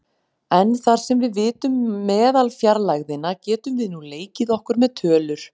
En þar sem við vitum meðalfjarlægðina getum við nú leikið okkur með tölur.